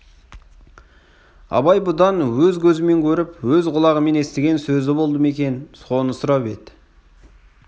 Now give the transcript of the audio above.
абай бұдан өз көзімен көріп өз құлағымен естіген сөзі болды ма екен соны сұрап еді